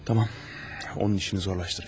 Tamam, onun işini zorlaşdıracam.